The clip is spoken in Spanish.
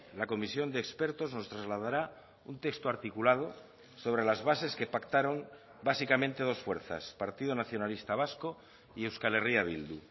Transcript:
la comisión de expertos nos trasladará un texto articulado sobre las bases que pactaron básicamente dos fuerzas partido nacionalista vasco y euskal herria bildu